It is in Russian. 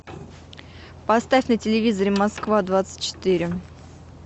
поставь на телевизоре москва двадцать четыре